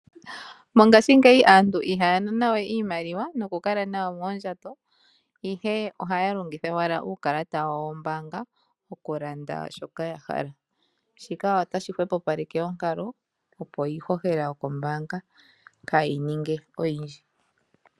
Mongaashingeyi aantu ihaya nana we iimaliwa noku kala nayo moondjato, ihe ohaya longitha owala uukalata wawo wombaanga oku landa shoka ya hala. Shika otashi hwepopaleke onkalo, opo iihohela yokombaanga kaa yi ninge oyindji.